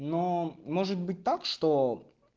но может быть так что